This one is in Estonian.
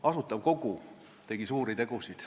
Asutav Kogu tegi suuri tegusid.